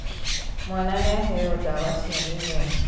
Mwana nĩaheo dawa cia mĩnyoo.